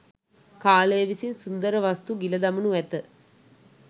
කාලය විසින් සුන්දර වස්තු ගිල දමනු ඇත.